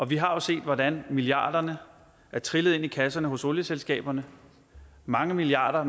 vi har jo set hvordan milliarderne er trillet ind i kasserne hos olieselskaberne mange milliarder